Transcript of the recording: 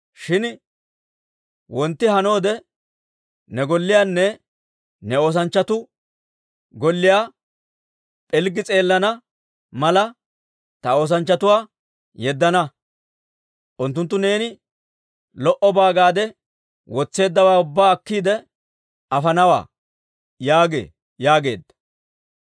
Shin wontti hannoode ne golliyaanne ne oosanchchatuu golliyaa pilggi s'eelana mala ta oosanchchatuwaa yeddana. Unttunttu neeni lo"obaa gaade wotseeddawaa ubbaa akkiide afanawaa› yaagee» yaageeddino.